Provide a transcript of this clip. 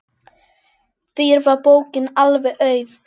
Því var bókin alveg auð.